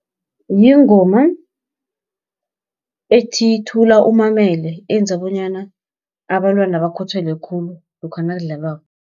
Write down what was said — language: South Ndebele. Yingoma ethi, thula umamele eyenza bonyana abantwana bakhuthale khulu, lokha nakudlalwako.